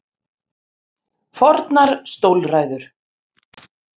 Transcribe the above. Fornar stólræður.